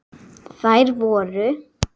Þær voru